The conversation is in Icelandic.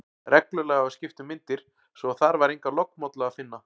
Reglulega var skipt um myndir, svo að þar var enga lognmollu að finna.